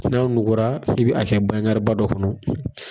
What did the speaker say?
N'an nugura bi a kɛ banyagariba dɔ kɔnɔ.